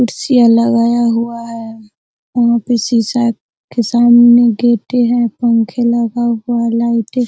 कुर्सियाँ लगाया हुआ है | वहाँ पे सीसा के सामने गिटी है | पंखे लगा हुआ है | लाइटे --